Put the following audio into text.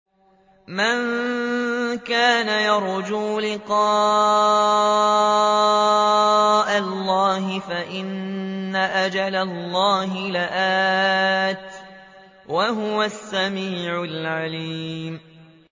مَن كَانَ يَرْجُو لِقَاءَ اللَّهِ فَإِنَّ أَجَلَ اللَّهِ لَآتٍ ۚ وَهُوَ السَّمِيعُ الْعَلِيمُ